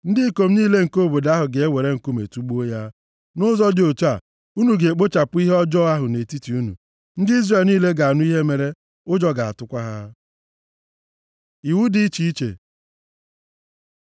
Ndị ikom niile nke obodo ahụ ga-ewere nkume tugbuo ya. Nʼụzọ dị otu a, unu ga-ekpochapụ ihe ọjọọ ahụ nʼetiti unu. Ndị Izrel niile ga-anụ ihe mere, ụjọ ga-atụkwa ha. Iwu dị iche iche